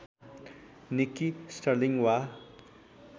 Nikki Sterling वा